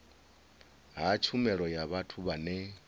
ha tshumelo ya vhathu vhane